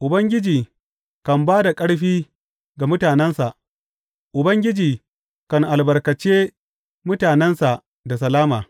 Ubangiji kan ba da ƙarfi ga mutanensa; Ubangiji kan albarkace mutanensa da salama.